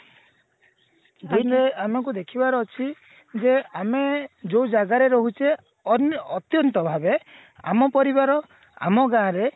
ଦୁଇରେ ଆମକୁ ଦେଖିବାର ଅଛି ଯେ ଆମେ ଯୋଉ ଜାଗାରେ ରହୁଛେ ଅ ଅତ୍ୟନ୍ତ ଭାବେ ଆମ ପରିବାର ଆମ ଗାଁରେ